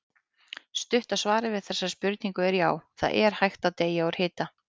Stutta svarið við þessari spurningu er já, það er hægt að deyja úr hita.